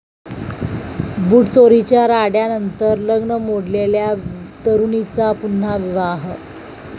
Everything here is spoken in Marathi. बुटचोरीच्या राड्यानंतर लग्न मोडलेल्या तरुणीचा पुन्हा विवाह